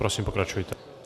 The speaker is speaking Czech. Prosím, pokračujte.